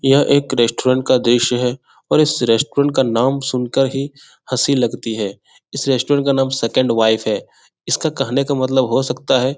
यह एक रेस्टुरेंट का दृश्य है और इस रेस्टुरेंट का नाम सुन कर ही हँसी लगती है इस रेस्टुरेंट का नाम सेकंड वाइफ है इसका कहने का मतलब हो सकता है --